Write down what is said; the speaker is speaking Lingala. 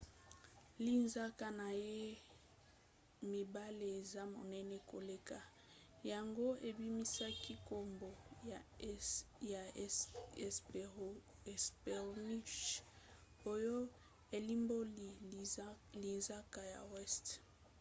linzaka na ye ya mibale eza monene koleka yango ebimisaki nkombo ya hesperonychus oyo elimboli linzaka ya weste.